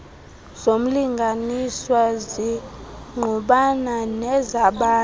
zomlinganiswa zingqubana nezabanye